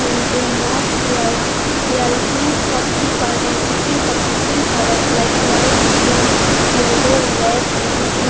And a mug there uh there is no shopkeeper and it is of different colours like white blue yellow red and --